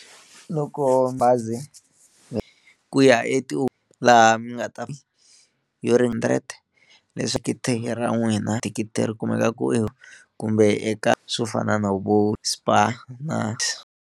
Loko bazi ku ya i to laha mi nga ta hundred thikithi ra n'wina thikithi ri kumeka ku kumbe eka swo fana na vo Spar na .